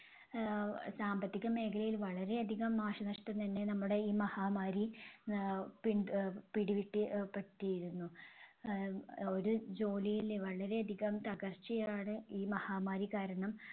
ആഹ് സാമ്പത്തിക മേഖലയിൽ വളരെ അധികം നാശനഷ്‌ടം തന്നെ നമ്മടെ ഈ മഹാമാരി ആഹ് പിണ്ട് അഹ് പിടിപെട്ടി അഹ് പെട്ടിയിരുന്നു. ആഹ് ഒരു ജോലിയില് വളരെ അധികം തകർച്ചയാണ് ഈ മഹാമാരി കാരണം